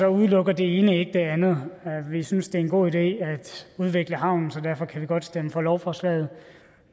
udelukker det ene ikke det andet vi synes det er en god idé at udvikle havnen så derfor kan vi godt stemme for lovforslaget